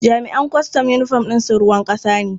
Jami'an kwastam yunifom ɗin su ruwan ƙasa ne.